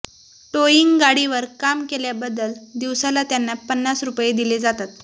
towing गाडीवर काम केल्याबद्दल दिवसाला त्यांना पन्नास रुपये दिले जातात